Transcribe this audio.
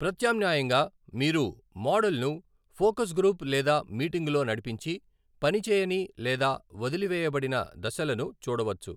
ప్రత్యామ్నాయంగా, మీరు మోడల్ను ఫోకస్ గ్రూప్ లేదా మీటింగులో నడిపించి, పనిచేయని లేదా వదిలివేయబడిన దశలను చూడవచ్చు.